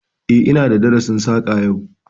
Eh, ina da darasin Saƙa yau